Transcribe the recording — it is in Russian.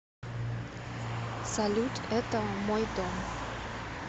салют это мой дом